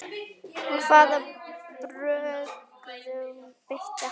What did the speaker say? Hvaða brögðum beitti hann?